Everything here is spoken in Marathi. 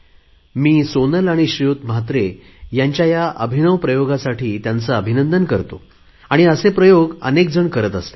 मी सोनल आणि म्हात्रे यांच्या अभिनव प्रयोगासाठी त्यांचे अभिनंदन करतो आणि असे प्रयोग अनेकजण करतात